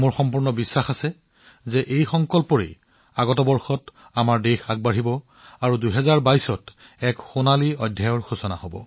মই নিশ্চিত যে এই সংকল্পৰ দ্বাৰা দেশখন আগন্তুক বৰ্ষত আগবাঢ়িব আৰু ২০২২ হব নতুন ভাৰত গঢ়াৰ সোণালী পৃষ্ঠা